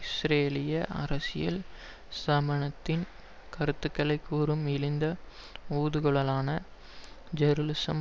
இஸ்ரேலிய அரசியல் ஸ்தாபனத்தின் கருத்துக்களை கூறும் இழிந்த ஊதுகுழலான ஜெருசலம்